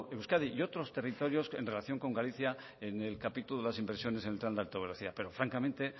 euskadi y otros territorios en relación con galicia en el capítulo de las inversiones en el tren de alta velocidad pero francamente